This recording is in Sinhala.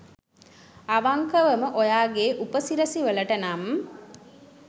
අවංකවම ඔයාගේ උප සිරස වලට නම්